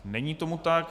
Není tomu tak.